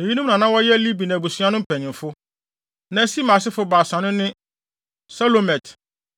Eyinom na na wɔyɛ Libni abusua no mpanyimfo. Na Simei asefo baasa no ne Selomot,